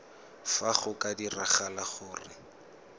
fa go ka diragala gore